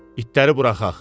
İtləri buraxaq.